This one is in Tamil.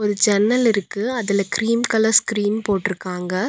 ஒரு ஜன்னல் இருக்கு அதுல கிரீம் கலர் ஸ்கிரீன் போட்ருக்காங்க.